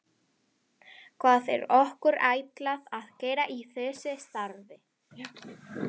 Hvað er okkur ætlað að gera í þessu starfi?